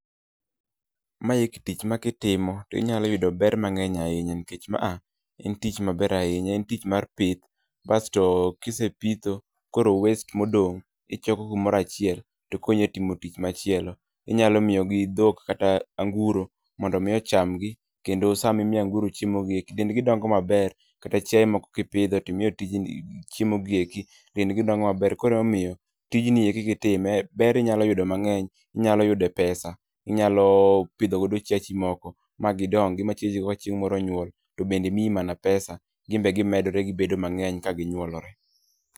Mae tich ma kitimo to inyalo yudo ber mangény ahinya. Nikech maa, en tich maber ahinya, en tich mar pith, kasto kisepitho koro waste modong' ichoko kumoro achiel to konyi e timo tich machielo. Inyalo miyo gi dhok, kata anguro mondo omi ochamgi, Kendo sama imiyo anguro chiemogi dendgi dongo maber. Kata chiae moko kipidho to imiyo chiemogieki, dendgi dongo maber. Koro omiyo tijni eki kitime, ber inyalo yudo mangény, inyalo yude pesa, inyalo pidho godo chiachi moko, ma gidongi, ma chiachigo chieng moro nyuol, to bende mii mana pesa. Ginbe gimedore, gibedo mana mangény ka ginyuolore.